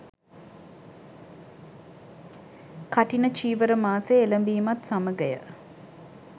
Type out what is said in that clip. කඨින චීවර මාසය එළඹීමත් සමඟය.